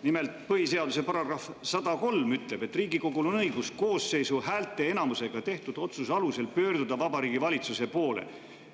Nimelt, põhiseaduse § 103 ütleb, et Riigikogul on õigus koosseisu häälteenamusega tehtud otsuse alusel pöörduda Vabariigi Valitsuse poole